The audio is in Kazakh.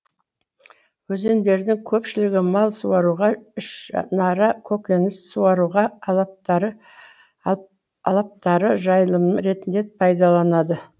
өзендердің көпшілігі мал суаруға ішінара көкөніс суаруға алаптары жайылым ретінде пайдаланады